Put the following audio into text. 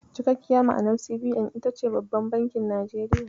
Cikakkiyar ma'anar CBN ita ce "Babban Bankin Najeriya".